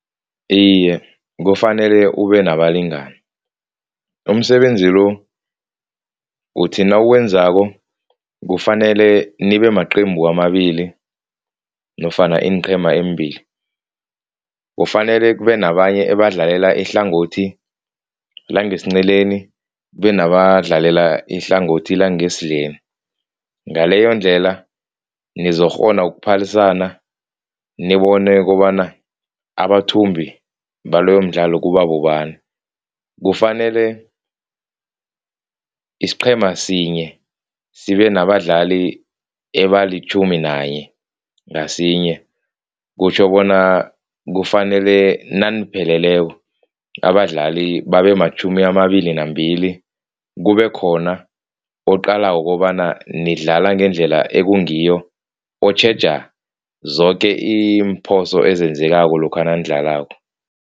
Iye, kufanele ubenabalingani, umsebenzi lo uthi nawuwenzako kufanele nibemaqembu amabili nofana iinqhema eembili. Kufanele kube nabanye abadlalela ihlangothi langesinceleni kube nabadlalela ihlangothi langesidleni. Ngaleyondlela nizokukghona ukuphalisana nobone kobana abathumbi baloyomdlalo kuba bobani. Kufanele isiqhema sinye sibenabadlali abalitjhumi nanye ngasinye, kutjho bona kufanele nanipheleleko abadlali babe matjhumi amabili nambili, kube khona oqalako kobana nidlale ngendlela ekungiyo, otjheja zoke iimphoso ezenzekako lokha nanidlalako.